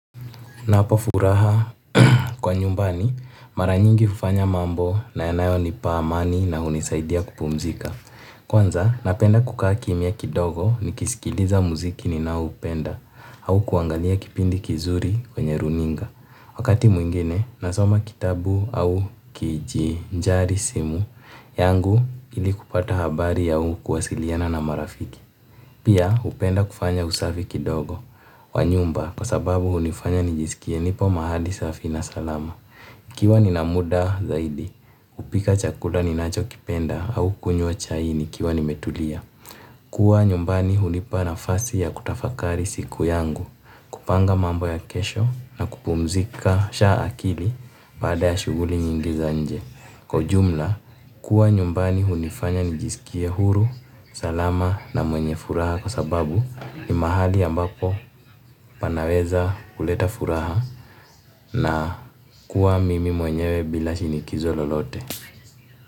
Na hapa furaha kwa nyumbani, maranyingi ufanya mambo na yanayo nipa amani na unisaidia kupumzika. Kwanza napenda kukaa kimya kidogo nikisikiliza muziki ninaoupenda au kuangalia kipindi kizuri kwenye runinga. Wakati mwingine, nasoma kitabu au kiji njari simu yangu ili kupata habari ya ukuwasiliana na marafiki. Pia, upenda kufanya usafiki dogo wa nyumba kwa sababu unifanya nijisikie nipo mahali safi na salama. Ikiwa ni na muda zaidi, upika chakula ni nacho kipenda au kunyua chai nikiwa ni metulia. Kua nyumbani unipa na fasi ya kutafakari siku yangu, kupanga mambo ya kesho na kupumzika sha akili bada ya shuguli nyingi za nje. Kwa jumla, kuwa nyumbani hunifanya nijisikie huru, salama na mwenye furaha kwa sababu ni mahali ambako panaweza kuleta furaha na kuwa mimi mwenyewe bila shinikizo lolote.